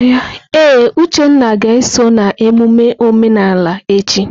Ee, Uchenna ga-eso na emume omenala echi.